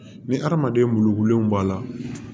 Ni hadamaden lululenw b'a la